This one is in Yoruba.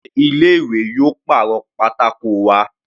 Sé ilé ìwé yóò pàrọ̀ pátákó wa?